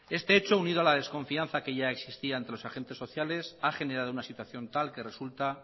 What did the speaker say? este hecho unido a la desconfianza que ya existía entre los agentes sociales ha generado una situación tal que resulta